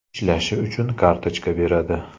Ishlashi uchun kartochka beradi.